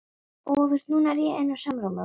Að ég verði ein í heiminum.